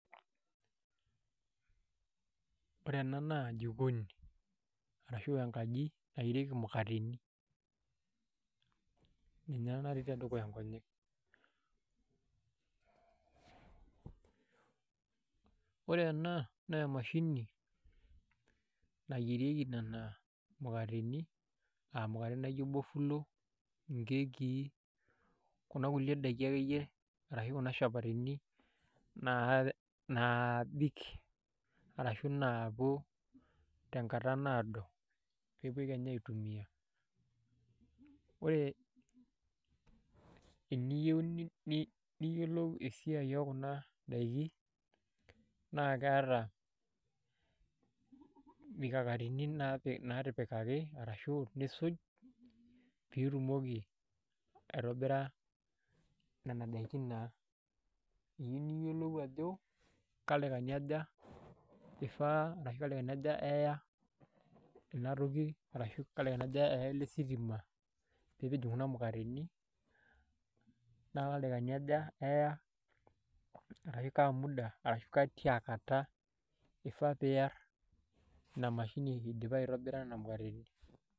Ore ena naa jikoni ashu enkaji nayierieki imukateni ninye ena natii tedukuya nkonyek ore ena naa emashini nayierieki nena mukateni aa mukateni naa ijo bofulo nkekii kuna kulie daiki akeyie arashu kuna shapatini naabik arashu naapuo tenkata naado pee epuoi kenya iatumia, ore teniyieu niyiolou esiai ookuna daiki naa keeta mikakatini naatipikaki naatipikaki arashu nisuj piitumoki aitobira nena daiki naa eyieu niyiolou ajo keldaikani ajo ifaa arashu keldaikani aja eya ina toki arashu keldaikani aja eya ele sitima pee kincho kuna mukateni meewa ildaikani aja eya arashu kaa muda arashu ke tia kata ifaa piiarr ina mashini idipa aitobira nena mukateni.